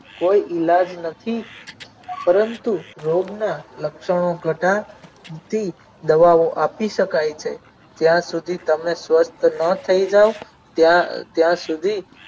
કોઈ ઈલાજ નથી પરંતુ રોગના લક્ષણો કાઢા નથી દવાઓ આપી શકાય છે ત્યાં સુધી તમે સ્વચ્છ ન થઈ જાવ ત્યાં ત્યાંસુધી